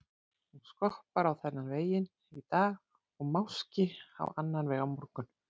Hún skoppar á þennan veginn í dag og máski á annan veg á morgun.